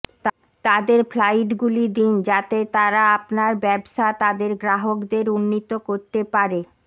তাদের ফ্লাইটগুলি দিন যাতে তারা আপনার ব্যবসা তাদের গ্রাহকদের উন্নীত করতে পারে